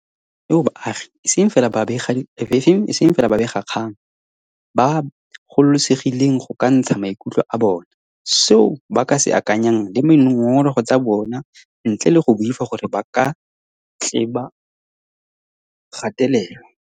Re tshela mo na geng eo baagi, e seng fela babega kgang, ba gololesegileng go ka ntsha maikutlo a bona, seo ba se akanyang le dingongorego tsa bona ntle le go boifa gore ba ka tle ba gatelelwa.